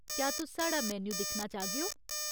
क्या तुस साढ़ा मेन्यू दिक्खना चाह्गेओ ?